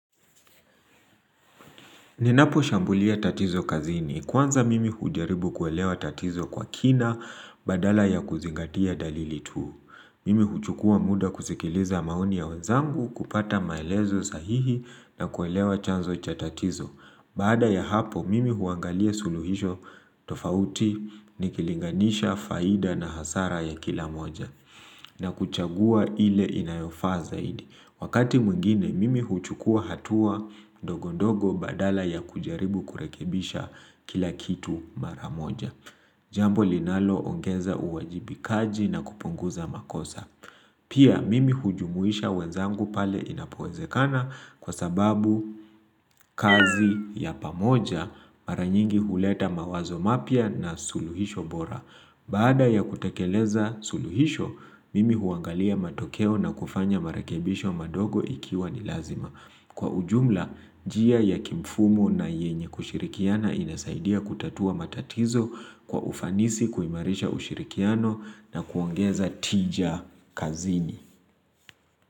Ninaposhambulia tatizo kazini, kwanza mimi hujaribu kuelewa tatizo kwa kina badala ya kuzingatia dalili tu. Mimi huchukua muda kusikiliza maoni ya wenzangu kupata maelezo sahihi na kuelewa chanzo cha tatizo. Baada ya hapo, mimi huangalia suluhisho tofauti, nikilinganisha faida na hasara ya kila moja na kuchagua ile inayofaa zaidi. Wakati mwingine, mimi huchukua hatua ndogo ndogo badala ya kujaribu kurekebisha kila kitu mara moja. Jambo linaloongeza uwajibikaji na kupunguza makosa. Pia, mimi hujumuisha wenzangu pale inapowezekana kwa sababu kazi ya pamoja mara nyingi huleta mawazo mapya na suluhisho bora. Baada ya kutekeleza suluhisho, mimi huangalia matokeo na kufanya marakebisho madogo ikiwa ni lazima. Kwa ujumla, njia ya kimfumo na yenye kushirikiana inasaidia kutatua matatizo kwa ufanisi kuimarisha ushirikiano na kuangeza tija kazini.